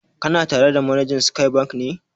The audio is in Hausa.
Kana tare da manajan Sky Bank ne?